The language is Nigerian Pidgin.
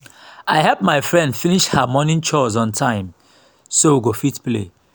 i help my friend finish her morning chores on time so we go fit play